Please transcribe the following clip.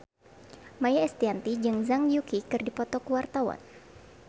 Maia Estianty jeung Zhang Yuqi keur dipoto ku wartawan